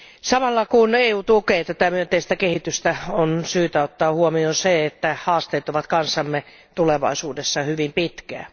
Samalla kun EU tukee tätä myönteistä kehitystä, on syytä ottaa huomioon se, että haasteet ovat kanssamme tulevaisuudessa hyvin pitkään.